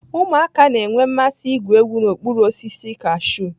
Ụmụaka ga-enwe mmasị igwu egwu n'okpuru osisi kashụ.